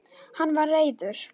Hann var reiður.